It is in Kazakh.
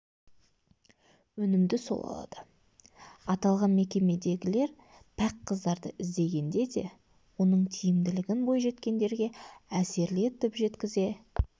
өнімді сол алады аталған мекемедегілер пәк қыздарды іздегенде де оның тиімділігін бойжеткендерге әсерлі етіп жеткізе